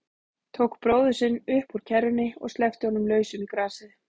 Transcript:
Tók bróður sinn upp úr kerrunni og sleppti honum lausum í grasið.